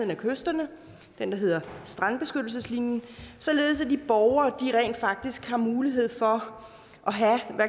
ved kysterne strandbeskyttelseslinjen således at de borgere rent faktisk har mulighed for